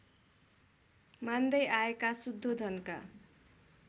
मान्दै आएका शुद्धोधनका